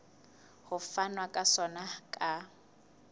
ho fanwa ka sona ka